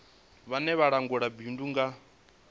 vhone vha langulaho bindu nga